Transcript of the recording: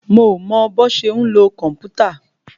Mo mọ bọ́ ṣe ń lo kòmpútà.